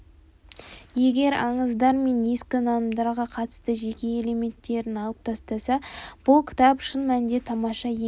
егер аңыздар мен ескі нанымдарға қатысты жеке элементтерін алып тастаса бұл кітап шын мәнінде тамаша еңбек